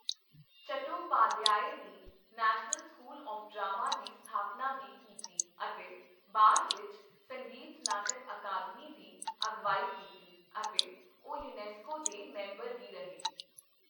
ਚਟੋਪਾਧਿਆਏ ਨੇ National School of Drama ਦੀ ਸਥਾਪਨਾ ਵੀ ਕੀਤੀ ਅਤੇ ਬਾਅਦ ਵਿੱਚ ਸੰਗੀਤ ਨਾਟਕ ਅਕਾਦਮੀ ਦੀ ਅਗਵਾਈ ਕੀਤੀ, ਅਤੇ ਉਹ ਯੂਨੈਸਕੋ ਦੇ ਮੈਂਬਰ ਵੀ ਰਹੇ।